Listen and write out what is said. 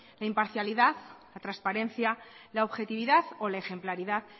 la imparcialidad la transparencia la objetividad o la ejemplaridad